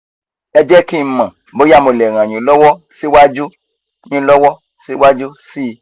ẹ jẹ́ kí n mọ̀ bóyá mo lè ràn yín lọ́wọ́ síwájú yín lọ́wọ́ síwájú sí i